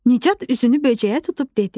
Nicat üzünü böcəyə tutub dedi.